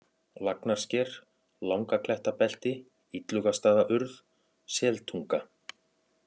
Lagnarsker, Langaklettabelti, Illugastaðaurð, Seltunga